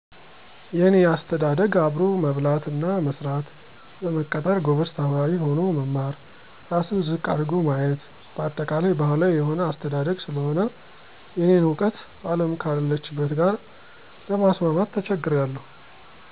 የኔ አስተዳደግ አብሮ መብላት እና መስራት፣ ለመቀጠር ጎበዝ ተማሪ ሆኖ መማር፣ ራስን ዝቅ አድርጎ ማየት በአጠቃላይ ባህላዊ የሆነ አስተዳግ ስለሆነ የእኔን እውቀት አለም ካለችበት ጋር ለማስማማት ተቸግሬአለሁ።